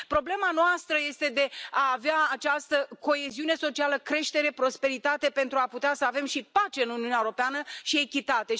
Problema noastră este de a avea această coeziune socială, creștere, prosperitate, pentru a putea să avem și pace în Uniunea Europeană și echitate.